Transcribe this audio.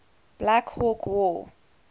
black hawk war